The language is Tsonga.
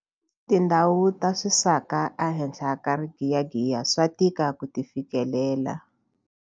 Tindhawu ta swisaka ehenhla ka rigiyagiya swa tika ku ti fikelela.